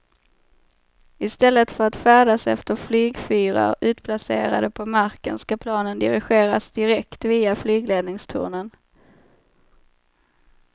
I stället för att färdas efter flygfyrar utplacerade på marken ska planen dirigeras direkt via flygledningstornen.